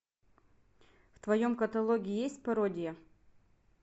в твоем каталоге есть пародия